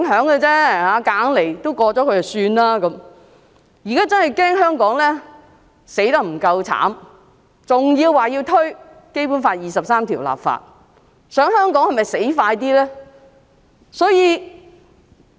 現在他們更好像恐怕香港死得不夠慘，還說要為《基本法》第二十三條立法，是否想香港死得更快呢？